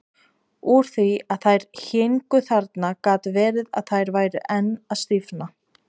Úr því að þær héngu þarna gat verið að þær væru enn að stífna.